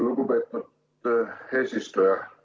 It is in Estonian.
Lugupeetud eesistuja!